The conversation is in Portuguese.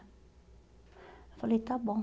Eu falei, está bom.